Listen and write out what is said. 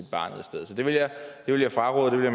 det vil jeg fraråde og det